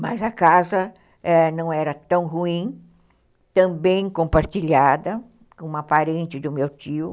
Mas a casa não era tão ruim, tão bem compartilhada com uma parente do meu tio.